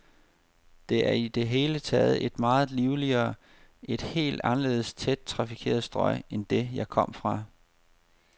Det er i det hele taget et meget livligere, et helt anderledes tæt trafikeret strøg end det, jeg kom fra.